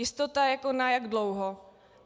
Jistota na jak dlouho?